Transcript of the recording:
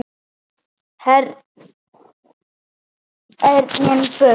Herinn burt!